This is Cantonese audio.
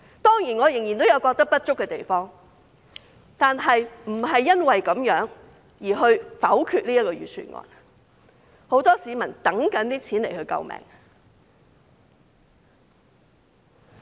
當然，我仍然覺得有不足的地方，但不會因此而否決這份預算案，因為很多市民等着這筆錢來救命。